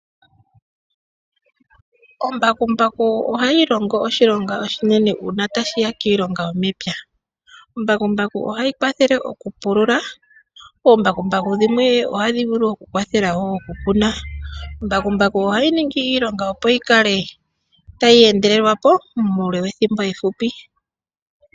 Oombakumbaku ohadhi longo iilonga lela uuna tashi yakomapya, ohadhi pulula omapya dho shimwe ohadhi vulu woo okukuna oshoka ohashi endelele nawa.